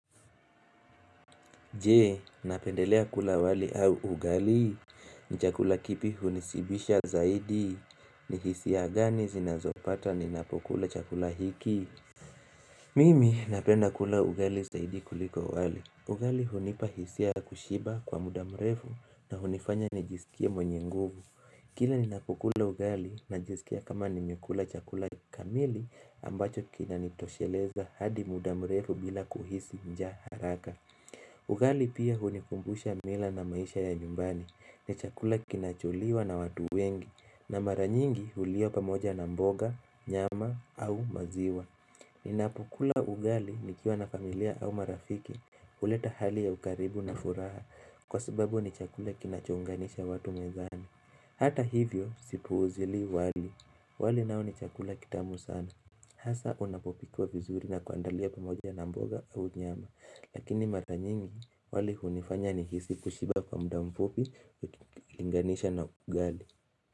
Je napendelea kula wali au ugali? Ni chakula kipi hunisibisha zaidi? Ni hisia gani zinazopata ninapokula chakula hiki? Mimi napenda kula ugali zaidi kuliko wali Ugali hunipa hisia kushiba kwa muda mrefu na hunifanya nijisikie mwenye nguvu Kila ninapokula ugali najisikia kama nimekula chakula kamili ambacho kina nitosheleza hadi muda mrefu bila kuhisi njaa haraka Ugali pia hunikumbusha mila na maisha ya nyumbani ni chakula kinacholiwa na watu wengi na mara nyingi huliwa pamoja na mboga, nyama au maziwa. Ninapokula ugali nikiwa na familia au marafiki huleta hali ya ukaribu na furaha kwa sababu ni chakula kinachounganisha watu mezani. Hata hivyo sipuuzili wali. Wali nao ni chakula kitamu sana. Hasaa unapopikwa vizuri na kuandaliwa pamoja na mboga au nyama lakini mara nyingi wali hunifanya nihisi kushiba kwa muda mfupi ukilinganisha na ugali.